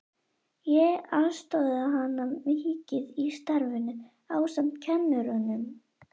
Ég aðstoðaði hana mikið í starfinu ásamt kennurunum